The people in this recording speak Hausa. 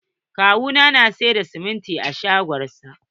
kawu na yana sayar da siminti a shagon sa.